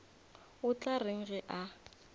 o tla reng ge a